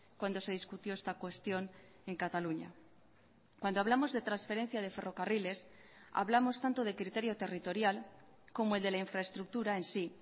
cuando se discutió esta cuestión en cataluña cuando hablamos de transferencia de ferrocarriles hablamos tanto de criterio territorial como el de la infraestructura en sí